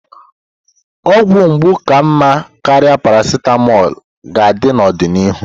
Ọgwụ mgbu ka mma karịa paracetamol ga-adị n'ọdịnihu.